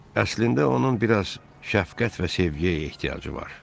Əslində onun biraz şəfqət və sevgiyə ehtiyacı var.